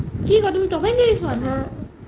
কি কুৱা তুমি ত'ম and জেৰি চোৱা নাই